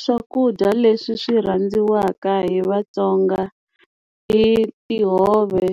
Swakudya leswi swi rhandziwaka hi Vatsonga i tihove,